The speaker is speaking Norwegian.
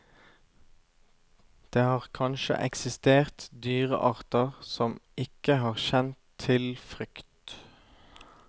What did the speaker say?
Det har kanskje eksistert dyrearter som ikke har kjent til frykt.